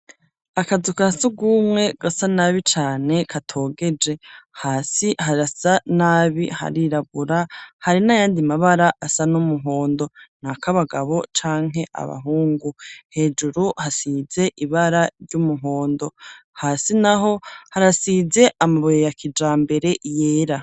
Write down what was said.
Akazu ka surwumwe gasa nabi cane katogeje, hasi harasa nabi, harirabura hari n'ayandi mabara asa n'umuhondo, ak'abagabo canke abahungu, hejuru hasize ibara ry'umuhondo hasi naho harasize amabuye ya kijambere yera.